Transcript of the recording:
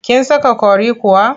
Kin saka curry kuwa?